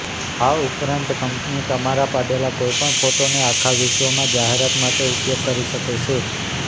આ ઉપરાંત કંપની તમારા પાડેલાં કોઈપણ ફોટોને આખા વિશ્વમાં જાહેરાત માટે ઉપયોગ કરી શકે છે